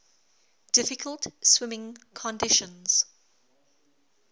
difficult swimming conditions